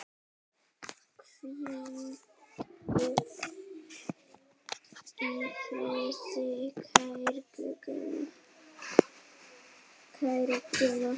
Hvíldu í friði, kæri Gummi.